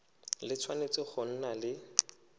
le tshwanetse go nna le